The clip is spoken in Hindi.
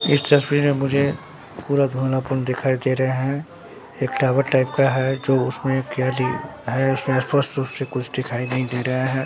इस तस्वीर मे मुझे पूरा धुनापन दिखाई दे रहे हैं एक टावर टाइप का है जो उसमें है उसे अस्पष्ट रूप से कुछ दिखाई नहीं दे रहा है।